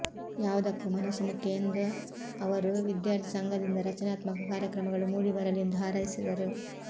ಯಾವುದಕ್ಕೂ ಮನಸ್ಸು ಮುಖ್ಯ ಎಂದ ಅವರು ವಿದ್ಯಾರ್ಥಿ ಸಂಘದಿಂದ ರಚನಾತ್ಮಕ ಕಾರ್ಯಕ್ರಮಗಳು ಮೂಡಿ ಬರಲಿ ಎಂದು ಹಾರೈಸಿದರು